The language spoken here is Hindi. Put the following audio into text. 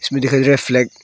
दिखाई दे रहा है फ्लैग ।